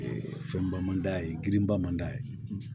fɛnba man d'a ye girinba man d'a ye